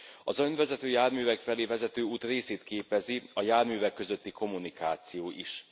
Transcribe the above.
Az önvezető járművek felé vezető út részét képezi a járművek közötti kommunikáció is.